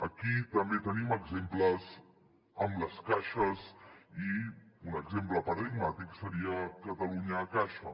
aquí també tenim exemples amb les caixes i un exemple paradigmàtic seria catalunya caixa